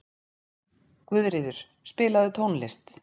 Guðríður, spilaðu tónlist.